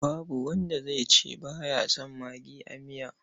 Babu wanda zai ce ba ya son magi a miya.